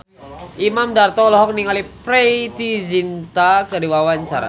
Imam Darto olohok ningali Preity Zinta keur diwawancara